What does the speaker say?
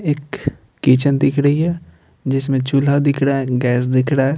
एक किचन दिख रही है जिसमें चूल्हा दिख रहा है गैस दिख रहा है।